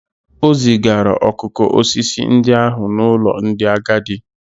O zigara okoko osisi ndị ahụ n'ụlọ ndị agadi